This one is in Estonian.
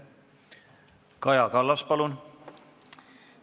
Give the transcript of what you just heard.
Kaja Kallas, palun!